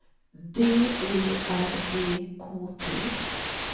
D I R E K T